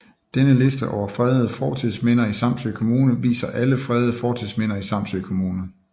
Denne liste over fredede fortidsminder i Samsø Kommune viser alle fredede fortidsminder i Samsø Kommune